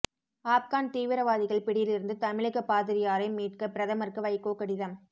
ஆப்கான் தீவிரவாதிகள் பிடியிலிருந்து தமிழக பாதிரியாரை மீட்க பிரதமருக்கு வைகோ கடிதம்